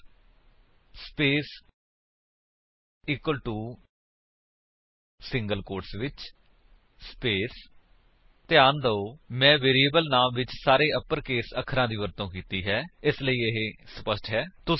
ਚਾਰ space equal to single quotes ਵਿੱਚ space ਧਿਆਨ ਦਿਓ ਮੈਂ ਵੇਰਿਏਬਲ ਨਾਮ ਵਿੱਚ ਸਾਰੇ ਅਪਰਕੇਸ ਅੱਖਰਾਂ ਦੀ ਵਰਤੋ ਕੀਤੀ ਹੈ ਇਸ ਲਈ ਇਹ ਸਪੱਸ਼ਟ ਹੈ